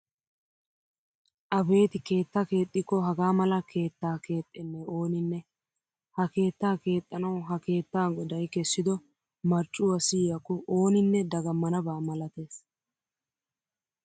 Abeeti keettaa keexxikko hagaa mala keettaa keexxennee ooninne! Ha keettaa keexxanawu ha keettaa goday kessido marccuwa siyiyakko ooninne dagammanaba malatees!